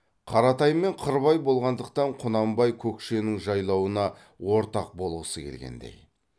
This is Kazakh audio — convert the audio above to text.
қаратаймен қырбай болғандықтан құнанбай көкшенің жайлауына ортақ болғысы келгендей